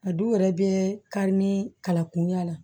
A du yɛrɛ bɛ kari ni kala kunya la